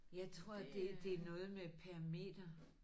Jeg tror det det er noget med per meter